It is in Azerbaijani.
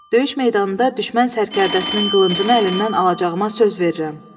Döyüş meydanında düşmən sərkərdəsinin qılıncını əlindən alacağıma söz verirəm.